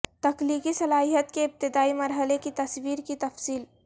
تخلیقی صلاحیت کے ابتدائی مرحلے کی تصاویر کی تفصیل